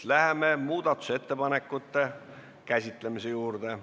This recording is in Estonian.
Läheme muudatusettepanekute juurde.